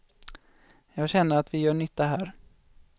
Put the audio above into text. Jag känner att vi gör nytta här.